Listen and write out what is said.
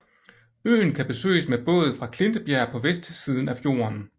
Øen kan besøges med båd fra Klintebjerg på vestsiden af fjorden